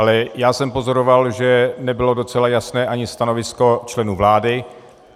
Ale já jsem pozoroval, že nebylo docela jasné ani stanovisko členů vlády.